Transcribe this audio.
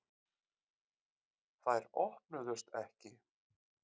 Þær opnuðust ekki.